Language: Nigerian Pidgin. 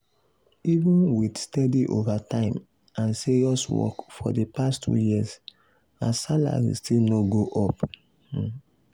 even with steady overtime and serious work for the past two years her salary still no go up. um